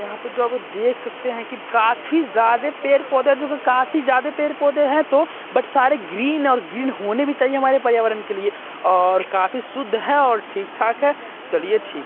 यहाँ पर आप जो देख सकते है कि काफी ज्यादा पेड़ पौधे है जो कि काफी ज्यादा पेड़-पौधे है तो बट सारे ग्रीन है और ग्रीन होने भी चाहिए हमारे पर्यावरण के लिए और काफी शुद्ध है और ठीक-ठाक है चलिए ठीक -----